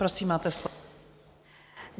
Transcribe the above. Prosím, máte slovo.